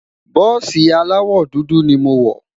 bùsi alawọ dúdú ní mọ wò